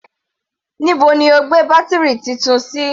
Níbo ni o gbé bátírì Titun sí?